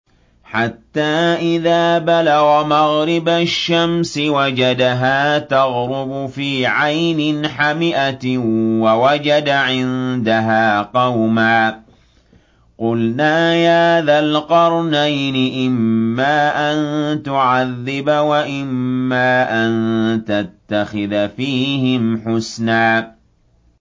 حَتَّىٰ إِذَا بَلَغَ مَغْرِبَ الشَّمْسِ وَجَدَهَا تَغْرُبُ فِي عَيْنٍ حَمِئَةٍ وَوَجَدَ عِندَهَا قَوْمًا ۗ قُلْنَا يَا ذَا الْقَرْنَيْنِ إِمَّا أَن تُعَذِّبَ وَإِمَّا أَن تَتَّخِذَ فِيهِمْ حُسْنًا